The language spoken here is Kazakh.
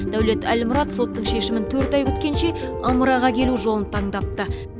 дәулет әлмұрат соттың шешімін төрт ай күткенше ымыраға келу жолын таңдапты